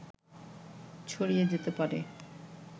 ছড়িয়ে যেতে পারে